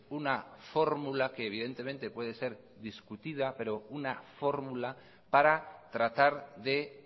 una fórmula que evidentemente puede ser discutida pero una fórmula para tratar de